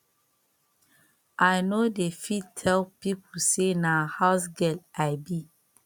i no dey fit tell pipo sey na housegirl i be